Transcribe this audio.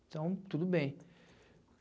Então, tudo bem.